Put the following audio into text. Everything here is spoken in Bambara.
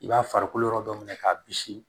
I b'a farikolo yɔrɔ dɔ minɛ k'a bisi